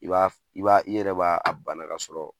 I b'a i b'a i yɛrɛ b'a bana ka sɔrɔ